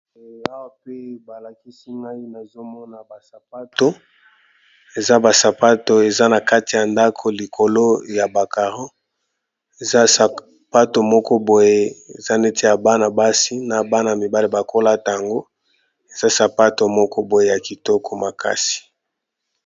Awa pe balakisi ngai, nazo mona basapato. Eza basapato eza na kati ya ndako likolo ya bacaro. Eza sapato moko boye, eza neti ya bana basi, na bana mibale bakolata yango. Eza sapato moko boye ya kitoko makasi.